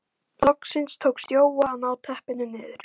Loksins tókst Jóa að ná teppinu niður.